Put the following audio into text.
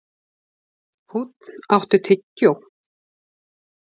Húnn, áttu tyggjó?